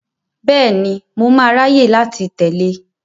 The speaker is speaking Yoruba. Bẹ́ẹ̀ni, mo máa ráyè láti tẹ̀lé e.